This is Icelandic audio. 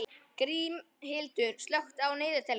Grímhildur, slökktu á niðurteljaranum.